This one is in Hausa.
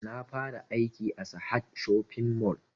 Na fara aiki a sahad shopping mall